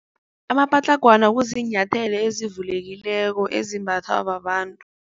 Amapatlagwana kuziinyathelo ezivulekileko ezimbathwa babantu.